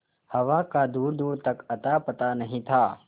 हवा का दूरदूर तक अतापता नहीं था